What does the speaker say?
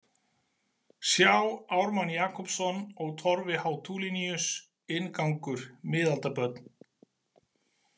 Sjá Ármann Jakobsson og Torfi H Tulinius, Inngangur, Miðaldabörn.